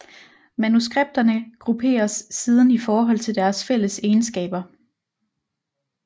Manuskripterne grupperes siden i forhold til deres fælles egenskaber